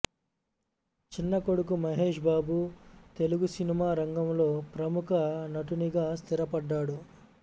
చిన్న కొడుకు మహేష్ బాబు తెలుగు సినిమా రంగంలో ప్రముఖ నటునిగా స్థిరపడ్డాడు